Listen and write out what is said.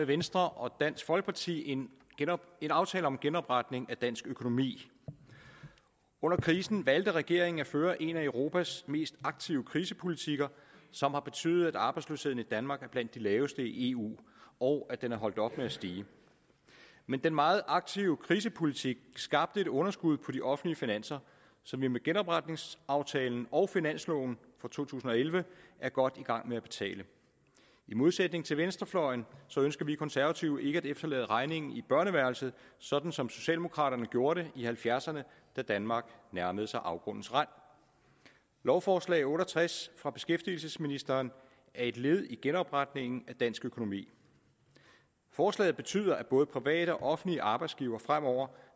venstre og dansk folkeparti en en aftale om genopretning af dansk økonomi under krisen valgte regeringen at føre en af europas mest aktive krisepolitikker som har betydet at arbejdsløsheden i danmark er blandt de laveste i eu og at den er holdt op med at stige men den meget aktive krisepolitik skabte et underskud på de offentlige finanser som vi med genopretningsaftalen og finansloven for to tusind og elleve er godt i gang med at betale i modsætning til venstrefløjen ønsker vi konservative ikke at efterlade regningen i børneværelset sådan som socialdemokraterne gjorde det i nitten halvfjerdserne da danmark nærmede sig afgrundens rand lovforslag otte og tres fra beskæftigelsesministeren er et led i genopretningen af dansk økonomi forslaget betyder at både private og offentlige arbejdsgivere fremover